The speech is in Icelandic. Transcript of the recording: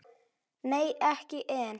Nei, ekki enn.